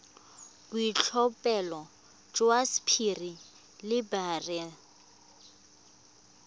boitlhophelo jwa sapphire le beryl